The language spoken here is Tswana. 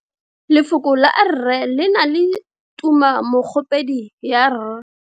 Lefoko la 'rre' le na le tumammogopedi ya r.